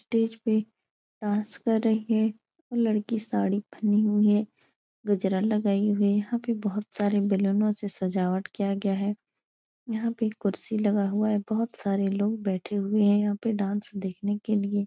Stage पे dance कर रही है। वो लड़की साड़ी पहनी हुई है। गजरा लगाई हुई। यहाँ पे बोहोत सारे बलूनों से सजावट किया गया है। यहाँ पे कुर्सी लगा हुआ है। बोहोत सारे लोग बैठे हुए हैं यहाँ पे डांस देखने के लिए।